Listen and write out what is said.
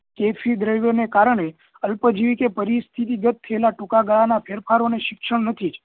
એ દ્રવ્યો ને કારણે અલ્પજીવી કે પરિસ્થિતિગત ટૂંકા ગાળા ના ફેરફારો ને શિક્ષણ નથી